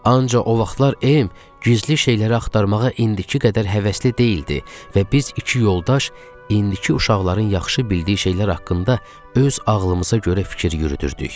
Ancaq o vaxtlar M gizli şeyləri axtarmağa indiki qədər həvəsli deyildi və biz iki yoldaş indiki uşaqların yaxşı bildiyi şeylər haqqında öz ağlımıza görə fikir yürüdürdük.